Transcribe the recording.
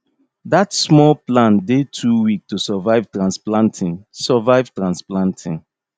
dat small plant dey too weak to survive transplanting survive transplanting